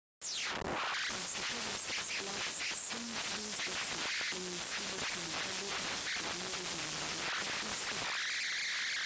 پاسەکە بۆ سیکس فلاگس سەینت لویس دەچوو لە میسوری بۆ تیمەکە بۆ پەخشکردن بۆ جەماوەرێکی فرۆشراو